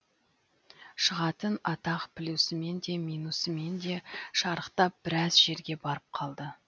шығатын атақ плюсімен де минусымен де шарықтап біраз жерге барып қалды